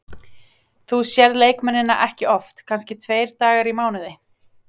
Þú sérð leikmennina ekki oft, kannski tveir dagar í mánuði.